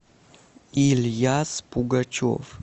ильяс пугачев